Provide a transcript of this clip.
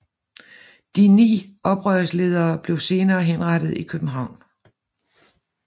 De ni oprørsledere blev senere henrettet i København